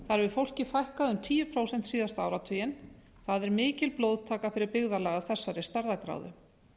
þar hefur fólki fækkað um tíu prósent síðasta áratuginn það er mikil blóðtaka fyrir byggðarlag af þessari stærðargráðu